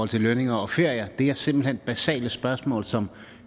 til lønninger og ferier det er simpelt hen basale spørgsmål som